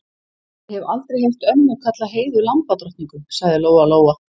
Ég hef aldrei heyrt ömmu kalla Heiðu lambadrottningu, sagði Lóa-Lóa.